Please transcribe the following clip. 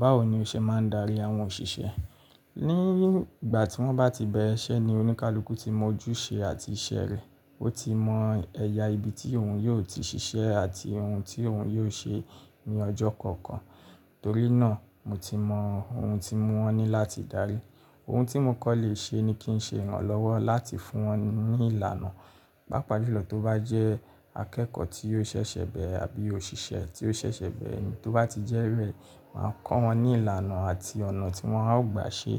Báwo ni o ṣe máa ń darí àwọn òṣìṣẹ́? Ní ìgbà tí wọ́n bá ti bẹ̀rẹ̀ iṣẹ́ ni oníkálukú ti mọ ojúṣe àti iṣẹ́ rẹ̀. Ó ti mọ ẹ̀yà ibi tí òun yóò ti ṣiṣẹ́ àti ohun tí òun yóò ṣe ní ọjọ́ kọ̀ọ̀kan. Torí náà mo ti mọ ohun tí mo wa ní láti darí. Ohun tí mo kò lè ṣe ni kí n ṣe ìrànlọ́wọ́ láti fún wọn ní ìlànà. Pápá julo tó bá jẹ́ akẹ́kọ̀ọ́ tí yóò ṣẹ̀ṣẹ̀ bẹ̀ere àbí òṣìṣẹ́ tí ó ṣẹ̀ṣẹ̀ bẹ̀re ni, tó bá ti jẹ́ be, màá kọ́ wọn ní ìlànà àti ọ̀nà tí wọ́n á gbà ṣe